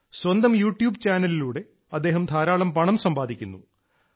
സ്വന്തം യൂട്യൂബ് ചാനലിലൂടെ അദ്ദേഹം ധാരാളം പണം സമ്പാദിക്കുന്നു